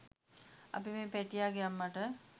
අපි මේ පැටියාගේ අම්මට